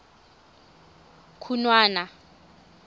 khunwana